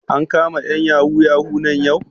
An kama ƴan yahoo yahoo nan yau?